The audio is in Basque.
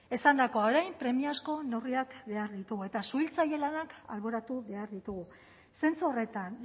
esandakoa orain premiazko neurriak behar ditugu eta suhiltzaile lanak alboratu behar ditugu zentzu horretan